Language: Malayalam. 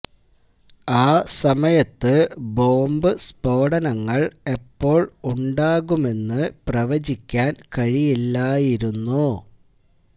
ആ സമയത്ത് ബോംബ് സ്ഫോടനങ്ങൾ എപ്പോൾ ഉണ്ടാകുമെന്ന് പ്രവചിക്കാൻ കഴിയില്ലായിരുന്നു